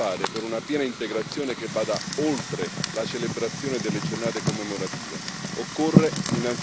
C'è ancora tanto da fare per una piena integrazione che vada oltre la celebrazione delle giornate commemorative.